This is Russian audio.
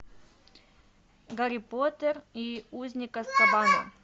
гарри поттер и узник азкабана